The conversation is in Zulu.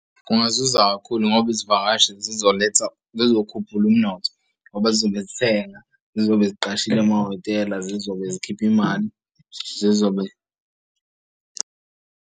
Kungazuza kakhulu ngoba izivakashi zizoletha zizokhuphula umnotho ngoba zizobe zithenga zizobe siqashile amahhotela zizobe zikhipha imali zizobe.